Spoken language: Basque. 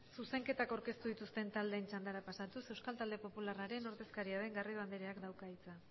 zuzenketak aurkeztu dituzten taldeen txandara pasatuz euskal talde popularraren ordezkaria den garrido andereak dauka hitza